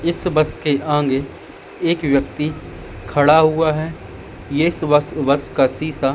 इस बस के आगे एक व्यक्ति खडा हुआ है इस बस बस का शीशा--